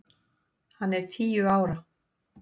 Hann er tíu ára!